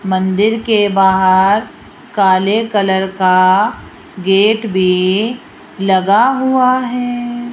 मंदिर के बाहर काले कलर का गेट भी लगा हुआ है।